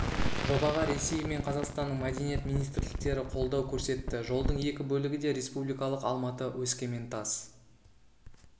жобаға ресей мен қазақстанның мәдениет министрліктері қолдау көрсетті жолдың екі бөлігі де республикалық алматы өскемен тас